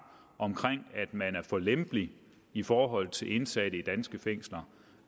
om at man er for lempelig i forhold til indsatte i danske fængsler